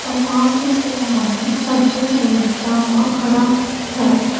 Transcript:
और पास में एगो सब्जी खरीदता हुआ खड़ा हैं।